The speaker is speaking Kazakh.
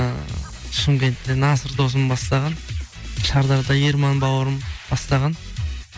ыыы шымкентте насыр досым бастаған шардарада ерман бауырым бастаған